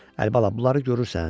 Əlibala, bunları görürsən?